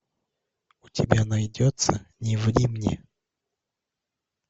у тебя найдется не ври мне